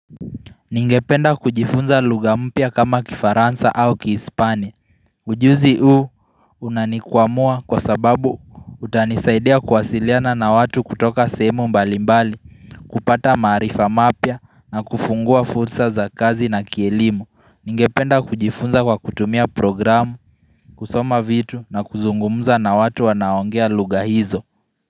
Ningependa kujifunza lugha mpya kama kifaransa au kihispani. Ujuzi huu unanikwamua kwa sababu utanisaidia kuwasiliana na watu kutoka sehemu mbalimbali, kupata maarifa mapya na kufungua fursa za kazi na kielimu. Ningependa kujifunza kwa kutumia program, kusoma vitu na kuzungumza na watu wanaoongea lugha hizo.